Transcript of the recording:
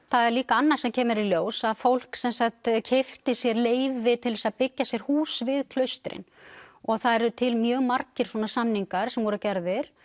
það er líka annað sem kemur í ljós að fólk sem sagt keypti sér leyfi til þess að byggja sér hús við klaustrin og það eru til mjög margir samningar sem voru gerðir